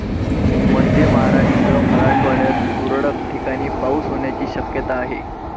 मध्य महाराष्ट्र, मराठवाड्यात तुरळक ठिकाणी पाऊस होण्याची शक्यताआहे.